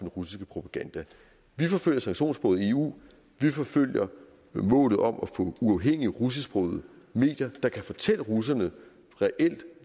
russiske propaganda vi forfølger sanktionssporet i eu vi forfølger målet om at få uafhængige russisksprogede medier der kan fortælle russerne